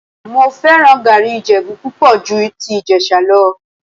Mo fẹ́ràn gàárì Ìjẹ̀bú púpọ̀ ju ti Ìjẹ̀sà lọ